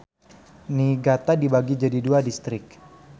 Niigata dibagi jadi dua distrik.